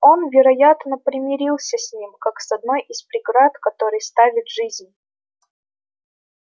он вероятно примирился с ним как с одной из преград которые ставит жизнь